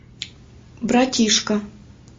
братишка